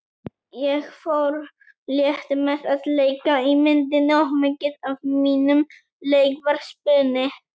Ég fór létt með að leika í myndinni og mikið af mínum leik var spuni.